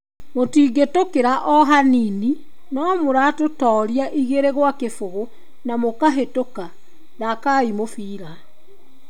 Mũtingĩtũkĩra o hanini, no mũratũtooria 2-0 na mũkahĩtoka, thakai mũbira.